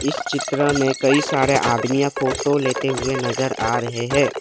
इस चित्र में कई सारे आदमीया फोटो लेते हुए नज़र आ रहे हैं।